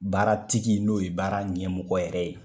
Baara tigi n'o ye baara ɲɛmɔgɔ yɛrɛ ye